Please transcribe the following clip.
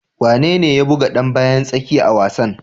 Wane ne ya buga dan bayan tsakiya a wasan?